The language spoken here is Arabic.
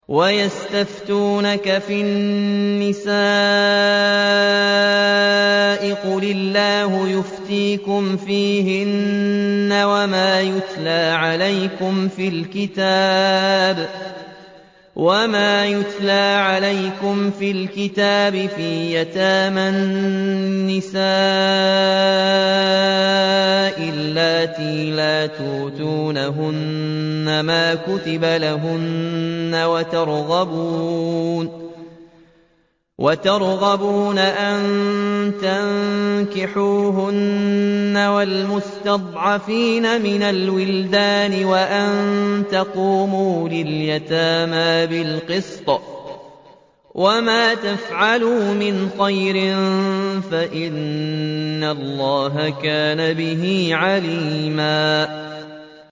وَيَسْتَفْتُونَكَ فِي النِّسَاءِ ۖ قُلِ اللَّهُ يُفْتِيكُمْ فِيهِنَّ وَمَا يُتْلَىٰ عَلَيْكُمْ فِي الْكِتَابِ فِي يَتَامَى النِّسَاءِ اللَّاتِي لَا تُؤْتُونَهُنَّ مَا كُتِبَ لَهُنَّ وَتَرْغَبُونَ أَن تَنكِحُوهُنَّ وَالْمُسْتَضْعَفِينَ مِنَ الْوِلْدَانِ وَأَن تَقُومُوا لِلْيَتَامَىٰ بِالْقِسْطِ ۚ وَمَا تَفْعَلُوا مِنْ خَيْرٍ فَإِنَّ اللَّهَ كَانَ بِهِ عَلِيمًا